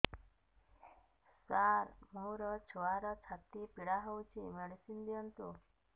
ସାର ମୋର ଛୁଆର ଛାତି ପୀଡା ହଉଚି ମେଡିସିନ ଦିଅନ୍ତୁ